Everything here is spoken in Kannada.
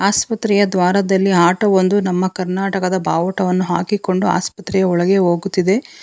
ಆಸ್ಪತ್ರೆಯ ದ್ವಾರದಲ್ಲಿ ಆಟೋ ಒಂದು ನಮ್ಮ ಕರ್ನಾಟಕದ ಬಾವುಟವನ್ನು ಹಾಕಿಕೊಂಡು ಆಸ್ಪತ್ರೆಯ ಒಳಗೆ ಹೋಗುತ್ತಿದೆ.